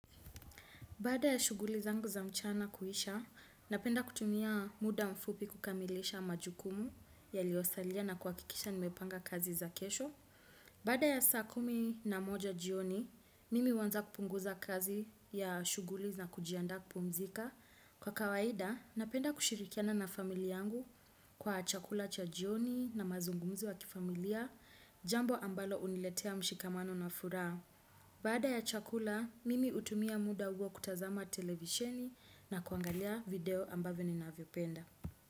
Baada ya shuguli zangu za mchana kuhisha, napenda kutumia muda mfupi kukamilisha majukumu yaliosalia na kuhakikisha nimepanga kazi za kesho. Baada ya saa kumi na moja jioni, mimi huanza kupunguza kazi ya shuguli na kujianda kupumzika. Kwa kawaida, napenda kushirikiana na familia yangu kwa chakula cha jioni na mazungumzo wa kifamilia, jambo ambalo huniletea mshikamano na furaha. Baada ya chakula, mimi hutumia muda huo kutazama televisheni na kuangalia video ambavyo ni navyopenda.